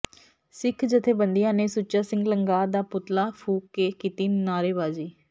ਸਿੱਖ ਜਥੇਬੰਦੀਆਂ ਨੇ ਸੁੱਚਾ ਸਿੰਘ ਲੰਗਾਹ ਦਾ ਪੁਤਲਾ ਫੂਕ ਕੇ ਕੀਤੀ ਨਾਅਰੇਬਾਜ਼ੀ